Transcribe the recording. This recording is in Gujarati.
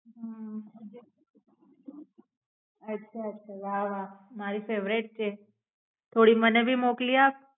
અચ્છા વા મારી favorite છે થોડી માને ભી મોકલી આપ.